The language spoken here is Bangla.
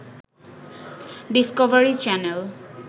Discovery channel